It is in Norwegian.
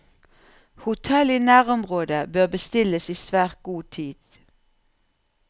Hotell i nærområdet bør bestilles i svært god tid.